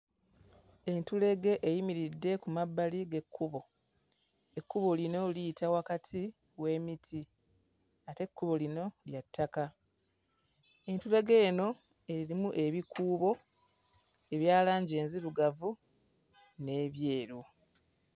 Entulege eyimiridde ku mabbali g'ekkubo. Ekkubo lino liyita wakati w'emiti ate ekkubo lino lya ttaka. Entulege eno erimu ebikuubo ebya langi enzirugavu n'ebyeru.